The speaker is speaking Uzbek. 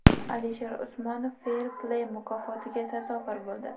Alisher Usmonov Fair Play mukofotiga sazovor bo‘ldi.